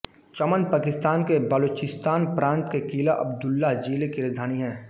चमन पाकिस्तान के बलोचिस्तान प्रांत के क़िला अब्दुल्लाह ज़िले की राजधानी है